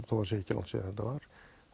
þó það sé ekki langt síðan þetta var